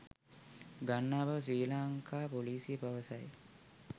ගන්නා බව ශ්‍රී ලංකා පොලිසිය පවසයි